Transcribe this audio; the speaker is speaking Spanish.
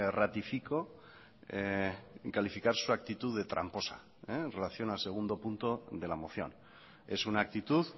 ratifico en calificar su actitud de tramposa en relación al segundo punto de la moción es una actitud